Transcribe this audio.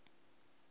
bay